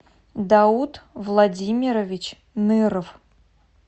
дауд владимирович ныров